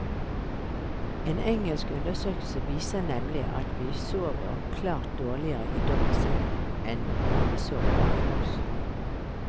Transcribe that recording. En engelsk undersøkelse viser nemlig at vi sover klart dårligere i dobbeltsengen, enn når vi sover hver for oss.